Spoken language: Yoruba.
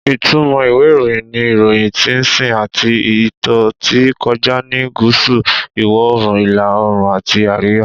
Ìtumọ̀ ìwé ìròyìn ni, Iroyin ti sìn àti ìtó tí kọjá ní gúúsù, iwo oòrùn, ìlà oòrùn àti àríwá.